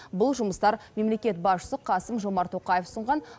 бұл жұмыстар мемлекет басшысы қасым жомарт тоқаев ұсынған